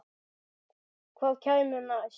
Hvað kæmi næst?